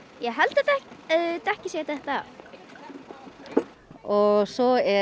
ég held að dekkið sé að detta af og svo